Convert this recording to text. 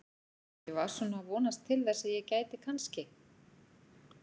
Ég var svona að vonast til þess að ég gæti kannski.